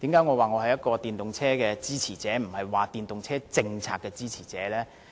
為何說我是電動車的支持者而不是電動車政策的支持者呢？